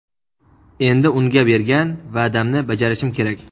Endi unga bergan va’damni bajarishim kerak.